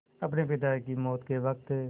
अपने पिता की मौत के वक़्त